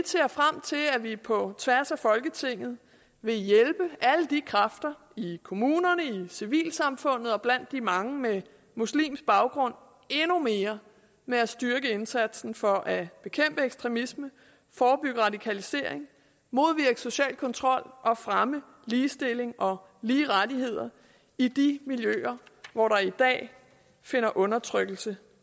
ser frem til at vi på tværs af folketinget vil hjælpe alle de kræfter i kommunerne og civilsamfundet og blandt de mange med muslimske baggrund endnu mere med at styrke indsatsen for at bekæmpe ekstremisme forebygge radikalisering modvirke social kontrol og fremme ligestilling og lige rettigheder i de miljøer hvor der i dag finder undertrykkelse